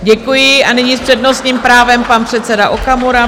Děkuji a nyní s přednostním právem pan předseda Okamura.